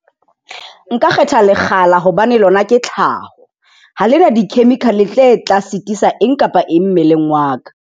Nka kgetha lekgala hobane lona ke tlhao ha le na di-chemical tse tla sitisa eng kapa eng mmeleng wa ka.